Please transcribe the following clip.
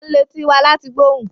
We use our ears to hear sounds